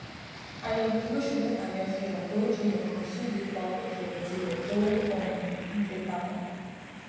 àyẹwò olóṣù méta rẹ fi hàn pé ó jìnnà ganan sí ilépa owó ìfẹyìntì rẹ tó um ń fipamọ